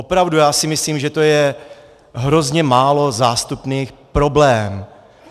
Opravdu, já si myslím, že je to hrozně málo zástupný problém.